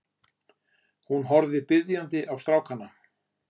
Hún horfði biðjandi á strákana.